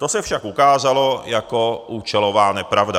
To se však ukázalo jako účelová nepravda.